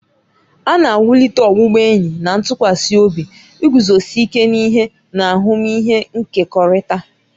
A na-ewulite ọbụbụenyi na ntụkwasị obi, iguzosi ike n'ihe, na ahụmịhe nkekọrịta.